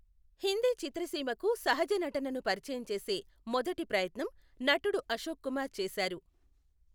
హిందీ చిత్రసీమకు సహజ నటనను పరిచయం చేసే మొదటి ప్రయత్నం నటుడు అశోక్ కుమార్ చేసారు.